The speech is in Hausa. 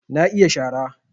Na iya shara